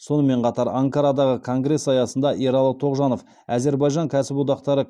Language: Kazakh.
сонымен қатар анкарадағы конгресс аясында ералы тоғжанов әзербайжан кәсіподақтары